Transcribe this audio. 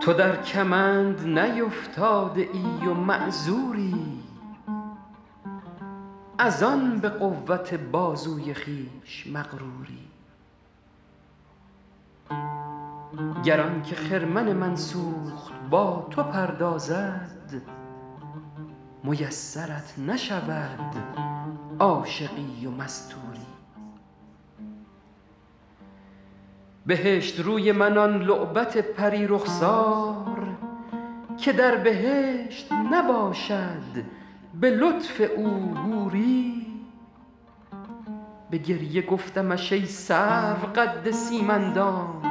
تو در کمند نیفتاده ای و معذوری از آن به قوت بازوی خویش مغروری گر آن که خرمن من سوخت با تو پردازد میسرت نشود عاشقی و مستوری بهشت روی من آن لعبت پری رخسار که در بهشت نباشد به لطف او حوری به گریه گفتمش ای سرو قد سیم اندام